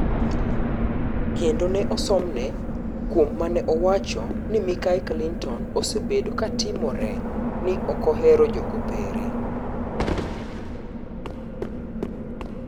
Kendo ne osomne kuom maneowacho ni Mikai Clinton osebedo"katimore ni okohero jokopere".